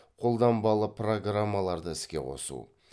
қолданбалы программаларды іске қосу